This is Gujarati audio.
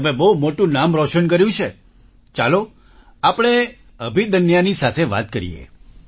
તમે બહુ મોટું નામ રોશન કર્યું છે ચાલો આપણે અભિદન્યાની સાથે વાત કરીએ